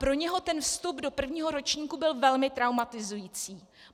Pro něho ten vstup do prvního ročníku byl velmi traumatizující.